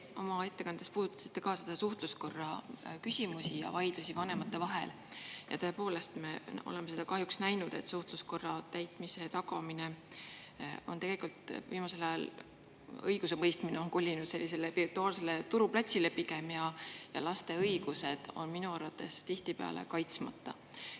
Te oma ettekandes puudutasite ka suhtluskorra küsimusi ja vaidlusi vanemate vahel ja tõepoolest, me oleme seda kahjuks näinud, et suhtluskorra täitmise tagamise puhul on tegelikult viimasel ajal õigusemõistmine kolinud pigem virtuaalsele turuplatsile ja laste õigused on minu arvates tihtipeale kaitsmata.